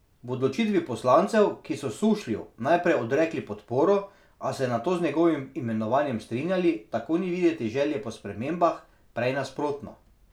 V odločitvi poslancev, ki so Sušlju najprej odrekli podporo, a se nato z njegovim imenovanjem strinjali, tako ni videti želje po spremembah, prej nasprotno.